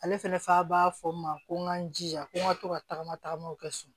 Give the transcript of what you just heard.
Ale fɛnɛ fa b'a fɔ n ma ko n k'an jija ko n ka to ka tagama tagamaw kɛ so